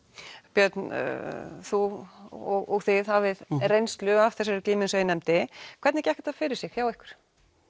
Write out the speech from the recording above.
björn þú og þið hafið reynslu af þessari glímu eins og ég nefndi hvernig gekk þetta fyrir sig hjá ykkur